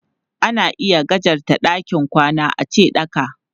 Ana iya gajarta ɗakin kwana ace ɗaka.